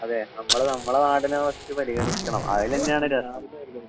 അതേ. നമ്മള് നമ്മടെ നാടിനെ ഫസ്റ്റ് പരിഗണിക്കണം. അതില് തന്നെയാണ്